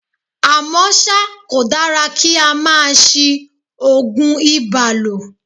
À mọ́ ṣá, kò dára kí á máa ṣí Ògùn ibà lò.